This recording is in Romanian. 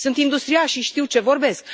Sunt industriaș și știu ce vorbesc.